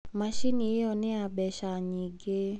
Macini ĩyo nĩ ya mbeca nyingĩ.